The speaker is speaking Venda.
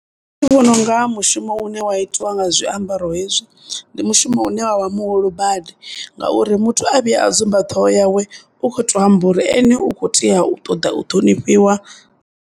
Nṋe ndi vhona unga mushumo une wa itwa nga zwiambaro hezwi ndi mushumo une wa vha muhulu badi ngauri muthu a vhuya a dzumba ṱhoho yawe u khoto amba uri ene u kho tea u ṱoḓa u ṱhonifhiwa.